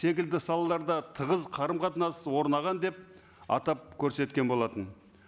секілді салаларда тығыз қарым қатынас орнаған деп атап көрсеткен болатын